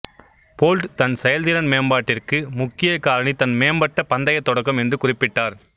bolt தன் செயல்திறன் மேம்பாட்டிற்கு முக்கிய காரணி தன் மேம்பட்ட பந்தயத் தொடக்கம் என்று குறிப்பிட்டார்